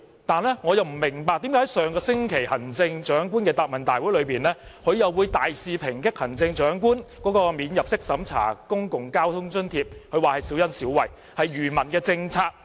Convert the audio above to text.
但是，我不明白為何在上星期的行政長官答問會上，他卻大肆抨擊行政長官提出的免入息審查公共交通津貼是小恩小惠，是愚民政策。